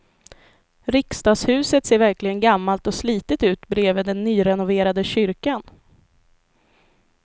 Riksdagshuset ser verkligen gammalt och slitet ut bredvid den nyrenoverade kyrkan.